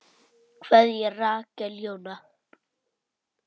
Kveðja, Rakel Jóna.